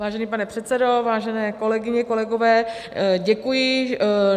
Vážený pane předsedo, vážené kolegyně, kolegové, děkuji.